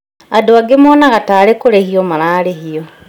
Andũ angĩ monaga tarĩ kũrĩhio mararĩhio